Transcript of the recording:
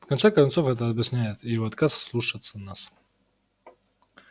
в конце концов это объясняет и его отказ слушаться нас